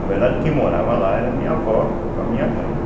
Na verdade, quem morava lá era a minha avó com a minha mãe, né?